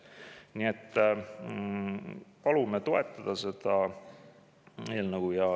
Nii et palume toetada seda eelnõu.